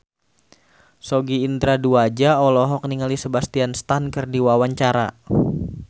Sogi Indra Duaja olohok ningali Sebastian Stan keur diwawancara